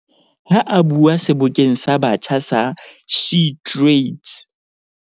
Ha a bua Sebokeng sa Batjha sa SheTrades